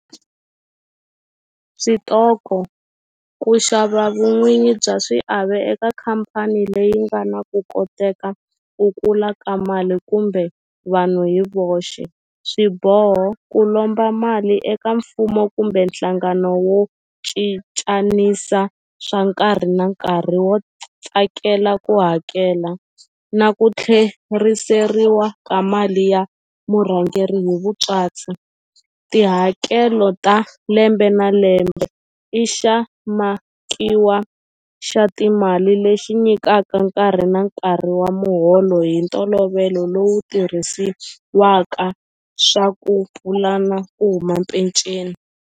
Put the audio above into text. Switoko ku xava vun'winyi bya xiave eka khampani leyi nga na ku koteka ku kula ka mali kumbe vanhu hi voxe swiboho ku lomba mali eka mfumo kumbe nhlangano wo cincanisa swa nkarhi na nkarhi wo tsakela ku hakela na ku tlheriseriwa ka mali ya murhangeri hi vutswatsi tihakelo ta lembe na lembe i xa makiwa xa timali lexi nyikaka nkarhi na nkarhi wa muholo hi ntolovelo lowu tirhisiwaka swa ku pulana ku huma peceni.